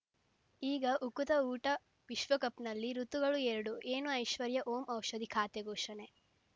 ಈಗ ಉಕುತ ಊಟ ವಿಶ್ವಕಪ್‌ನಲ್ಲಿ ಋತುಗಳು ಎರಡು ಏನು ಐಶ್ವರ್ಯಾ ಓಂ ಔಷಧಿ ಖಾತೆ ಘೋಷಣೆ